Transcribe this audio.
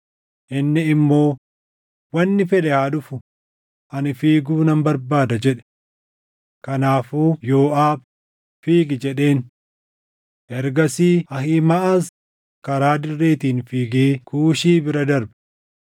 Inni immoo, “Wanni fedhe haa dhufu; ani fiiguu nan barbaada” jedhe. Kanaafuu Yooʼaab, “Fiigi!” jedheen. Ergasii Ahiimaʼaz karaa dirreetiin fiigee Kuushii bira darbe.